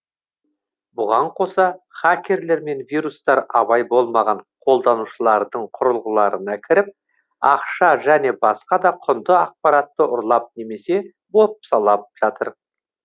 бұған қоса хакерлер мен вирустар абай болмаған қолданушылардың құрылғыларына кіріп ақша және басқа да құнды ақпаратты ұрлап немесе бопсалап жатыр